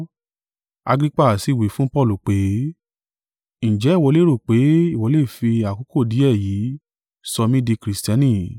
Agrippa sì wí fún Paulu pé, “Ǹjẹ́ ìwọ lérò pé ìwọ le fi àkókò díẹ̀ yìí sọ mí di Kristiani?”